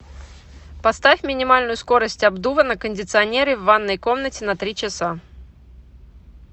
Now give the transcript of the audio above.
поставь минимальную скорость обдува на кондиционере в ванной комнате на три часа